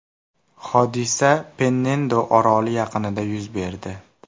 Hodisa Pennendo oroli yaqinida yuz berdi.